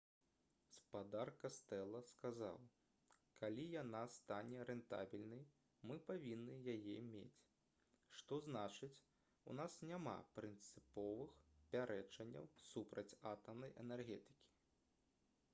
спадар кастэла сказаў: «калі яна стане рэнтабельнай мы павінны яе мець. што значыць у нас няма прынцыповых пярэчанняў супраць атамнай энергетыкі»